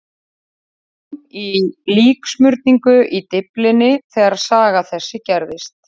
Hann var við nám í líksmurningu í Dyflinni þegar saga þessi gerðist.